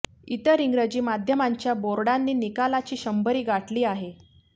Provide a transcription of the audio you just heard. इतर इंग्रजी माध्यमांच्या बोर्डांनी निकालाची शंभरी गाठली आहे